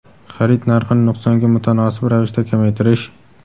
xarid narxini nuqsonga mutanosib ravishda kamaytirish;.